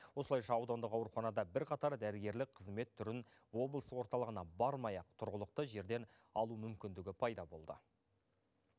осылайша аудандық ауруханада бірқатар дәрігерлік қызмет түрін облыс орталығына бармай ақ тұрғылықты жерден алу мүмкіндігі пайда болды